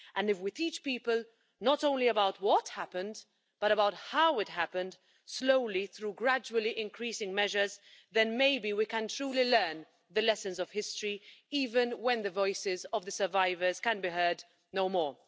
If we teach people not only about what happened, but about how it happened, slowly through gradually increasing measures, then maybe we can truly learn the lessons of history, even when the voices of the survivors can be heard no more.